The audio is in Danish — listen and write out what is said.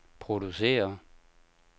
producerer